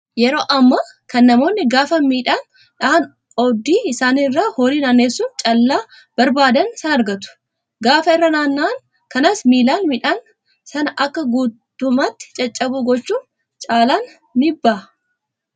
Yeroo ammaa kana namoonni gaafa midhaan dhahan oobdii isaanii irra horii naannessuun callaa barbaadan sana argatu. Gaafa irra naanna'an kanas miilaan midhaan sana akka guutummaatti caccabu gochuun caallaan ni baha.